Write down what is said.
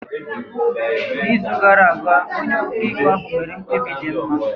N’izu gara aga, onye ọkaikpe ahụ mere mkpebi dị mma.